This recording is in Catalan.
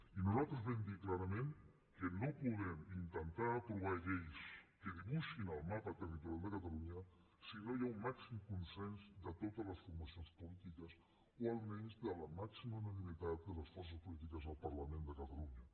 i nosaltres vam dir clarament que no podem intentar aprovar lleis que dibuixin el mapa territorial de catalunya si no hi ha un màxim consens de totes les formacions polítiques o almenys de la màxima unanimitat de les forces polítiques del parlament de catalunya